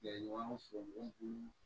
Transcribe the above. Ya ɲɔgɔn faamu